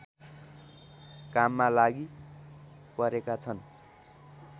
काममा लागि परेकाछन्